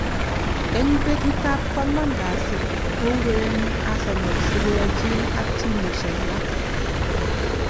Eng betut ab kwang'wan kasi kourereni Arsenal si koyochin ak timisiek alak.